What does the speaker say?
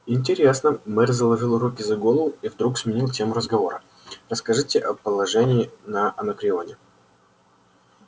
интересно мэр заложил руки за голову и вдруг сменил тему разговора расскажите о положении на анакреоне